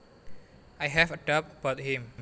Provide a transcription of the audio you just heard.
I have a doubt about him